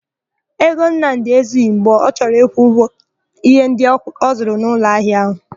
Ego Nnamdị ezughi mgbe ọ chọrọ ịkwụ ụgwọ íhé ndị ọ zụrụ n'ụlọahịa áhụ̀.